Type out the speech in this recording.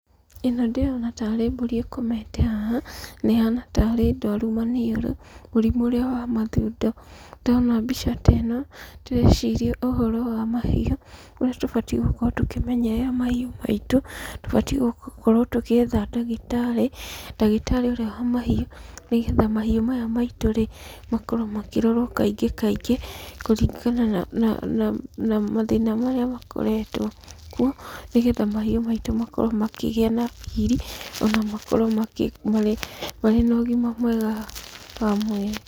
Ĩno ndĩrona tarĩ mbũri ĩkomete haha, na ĩhana tarĩ ndwaru maniũrũ; mũrimũ ũrĩa wa mathundo. Ndona mbica teno ndĩreciria ũhoro wa mahiũ, ũrĩa tũbatiĩ gũkorwo tũkĩmenyerera mahiũ maitu. Tubatiĩ gũkorwo tũgĩetha ndagĩtarĩ; ndagĩtarĩ ũrĩa wa mahiũ, nĩ getha mahiũ maya maitũ rĩ, makorwo makĩrorwo kaingĩ kaingĩ kũringana na, na na na mathĩna marĩa makoretwo kuo, nĩ getha mahiũ maitũ makorwo makĩgĩa na riri, ona makorwo makĩ, marĩ, marĩ na ũgima mwega wa mwĩrĩ.